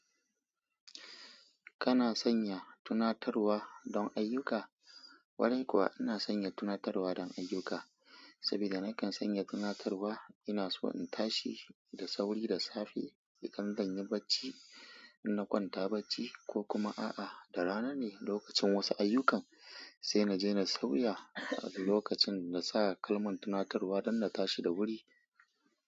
Kana sanya tunatarwa don ayyuka? Wani kuwa ina sanya tunatarwa don ayyuka. Saboda nakan sanya tunatarwa, ina so in tashi da sauri da safe idan ban yi barci, ina kwanta barci ko kuma a'a, da rana ne lokacin wasu ayyukan, sai na je na sauya lokacin na sa kalman tunatarwa don na tashi da wuri.